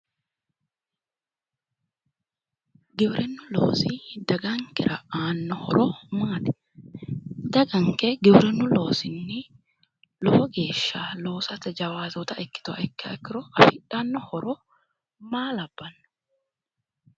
gieirinnu loosi dagankera aanno horo maati ? daganke giwirinnu loosinni lowo geeshsha loosate jawaatoota ikkituha ikkiha ikkiro afidhanno horo maa labbanno?